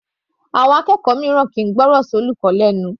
Àwọn Akẹ́kọ̀ọ́ mìíràn kìí gbọ́rọ̀ sí olùkọ́ lẹnu.